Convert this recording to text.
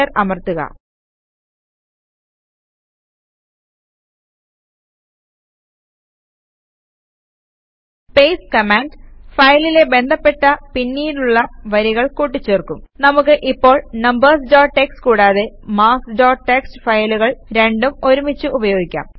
enter അമർത്തുക paste command ഫയലിലെ ബന്ധപ്പെട്ട പിന്നീടുള്ള വരികൾ കൂട്ടിച്ചേർക്കും നമുക്ക് ഇപ്പോൾ നംബർസ് ഡോട്ട് ടിഎക്സ്ടി കൂടാതെ മാർക്ക്സ് ഡോട്ട് ടിഎക്സ്ടി ഫയലുകൾ രണ്ടും ഒരുമിച്ച് ഉപയോഗിക്കാം